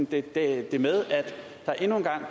det er